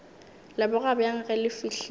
leboga bjang ge le fihlile